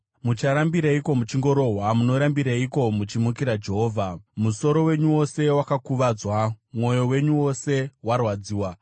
Mucharambireiko muchingorohwa? Munorambireiko muchimukira Jehovha? Musoro wenyu wose wakuvadzwa, mwoyo wenyu wose warwadziwa.